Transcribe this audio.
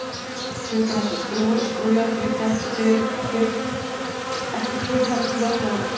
hlutir eins og skrúfur og skrúfjárn liggja ekki kyrr heldur fljóta um